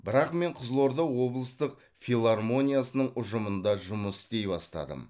бірақ мен қызылорда облыстық филармониясының ұжымымында жұмыс істей бастадым